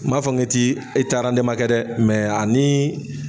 N ma fɔ n ki ti, e te ani